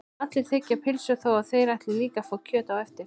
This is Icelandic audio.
Allir þiggja pylsu þó að þeir ætli líka að fá kjöt á eftir.